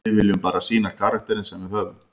Við viljum bara sýna karakterinn sem við höfum.